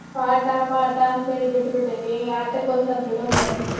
ಪಾಠ ಪಾಠ ಅಂತೇಳಿ ಬಿಟ್ಟ ಬಿಟ್ಟೇನಿ ಆಟಕ್ಕ ಒನ್ಸ್ವಲ್ಪ ಬಿಡುನ ಅವರ್ನು.